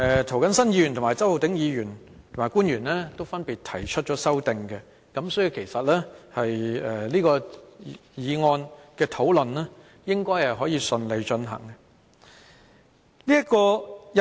涂謹申議員、周浩鼎議員及官員都分別提出了修正案，所以這項《條例草案》的討論應該可以順利進行。